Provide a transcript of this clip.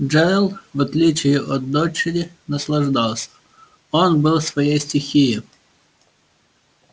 джералд в отличие от дочери наслаждался он был в своей стихии